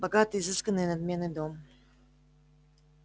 богатый изысканный и надменный дом